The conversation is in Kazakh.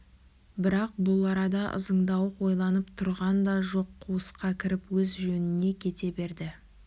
бірақ бұл арада ызыңдауық ойланып тұрған да жоқ қуысқа кіріп өз жөніне кете берді